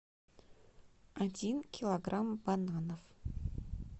один килограмм бананов